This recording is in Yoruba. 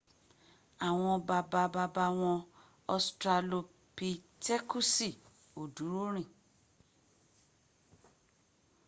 àwọn bàbá bàbá wọn ostralopitekusi ò dúró rìn